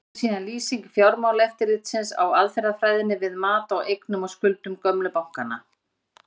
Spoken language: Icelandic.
Hér er síðan lýsing Fjármálaeftirlitsins á aðferðafræðinni við mat á eignum og skuldum gömlu bankanna.